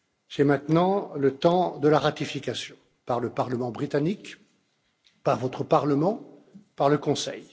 C'est maintenant le temps de la ratification par le Parlement britannique, par votre Parlement et par le Conseil.